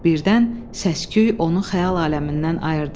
Birdən səsküy onu xəyal aləmindən ayırdı.